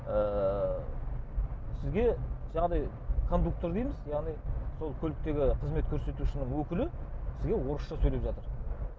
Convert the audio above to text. ыыы сізге жаңағыдай кондуктор дейміз яғни сол көліктегі қызмет көрсетушінің өкілі сізге орысша сөйлеп жатыр